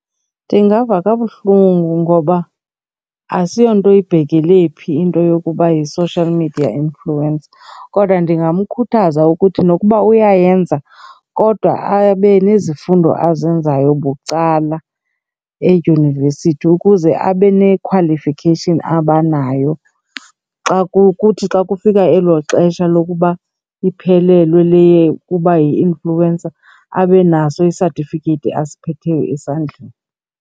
Ndingava kabuhlungu ngoba asiyonto ibhekele phi into yokuba yi-social media influencer. Kodwa ndingamkhuthaza ukuthi nokuba uyayenza kodwa abe nezifundo azenzayo bucala edyunivesithi ukuze abe ne-qualification abanayo. Xa kuthi xa kufika elo xesha lokuba iphelelwe leyo yokuba yi-influencer abe naso isatifiketi asiphetheyo esandleni.